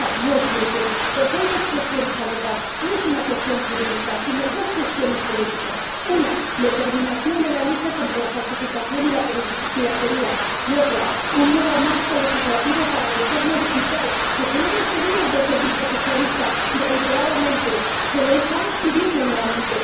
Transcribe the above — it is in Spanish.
No, no es solución, porque hay dos cuestiones que se han de abordar no se trata de una cuestión jurídica sino de dos cuestiones políticas una, la determinación de la lucha contra la falsificación y la piratería y otra, un nuevo marco legislativo para el entorno digital, que se lo hemos pedido desde el Grupo Socialista reiteradamente, y se lo estamos pidiendo nuevamente.